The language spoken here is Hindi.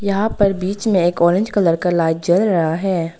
यहां पर बीच में एक ऑरेंज कलर का लाइट जल रहा है।